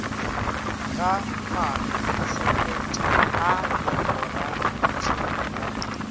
ga maanotshepetšo a legoratšhomo la